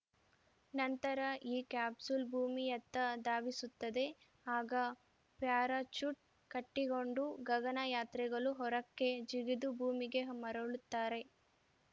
ನಂತರ ಈ ಕ್ಯಾಪ್ಸೂಲ್‌ ಭೂಮಿಯತ್ತ ಧಾವಿಸುತ್ತದೆ ಆಗ ಪ್ಯಾರಾಚೂಟ್‌ ಕಟ್ಟಿಕೊಂಡು ಗಗನಯಾತ್ರಿಗಳು ಹೊರಕ್ಕೆ ಜಿಗಿದು ಭೂಮಿಗೆ ಮರಳುತ್ತಾರೆ